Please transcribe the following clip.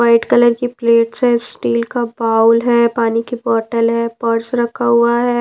White colour की plates है steel का बाउल है पानी की बॉटल है पर्स रखा हुआ है।